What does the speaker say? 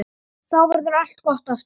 Þá verður allt gott aftur.